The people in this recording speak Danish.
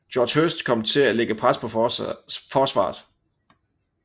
Geoff Hurst til at lægge pres på forsvaret